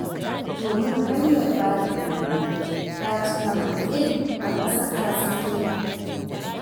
Domin hanyar Batar ma, ta cika maƙil ba masaka tsinke.